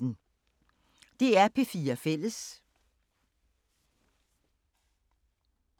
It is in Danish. DR P4 Fælles